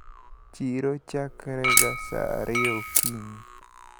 Chiro chakre ga saa ariyo okinyi.